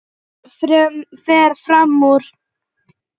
Fer fram úr.